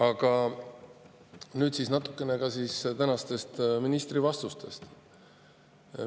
Aga nüüd siis natukene ka tänastest ministri vastustest.